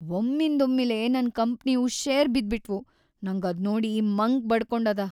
ಒಮ್ಮಿಂದೊಮ್ಮಿಲೇ ನನ್‌ ಕಂಪ್ನಿವು ಷೇರ್‌ ಬಿದ್ಬಿಟ್ವು, ನಂಗ್‌ ಅದ್ನೋಡಿ ಮಂಕ್ ಬಡಕೊಂಡದ.